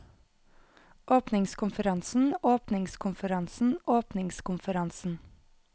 åpningskonferansen åpningskonferansen åpningskonferansen